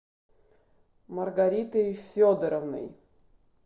маргаритой федоровной